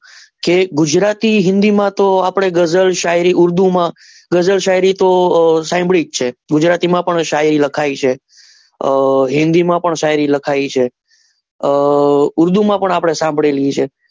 કે ગુજરાતી હિન્દી માં તો ગઝલાપડે ગઝલ શાયરી ઉર્દુ માં પણ ગઝલ શાયરી તો આપને સાંભળી છે ગુજરાતી માં પણ શાયરી લખાયેલી જ છે આ હિન્દી માં પણ શાયરી લખાયેલી છે આ ઉર્દુ માં પણ આપડે સાંભળેલી છે.